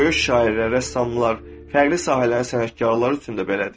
Böyük şairlər, rəssamlar, fərqli sahələrin sənətkarları üçün də belədir.